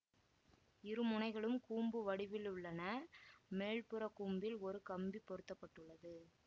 இரு முனைகளும் கூம்பு வடிவிலுள்ளன மேல்புறக் கூம்பில் ஒரு கம்பி பொருத்தப்பட்டுள்ளது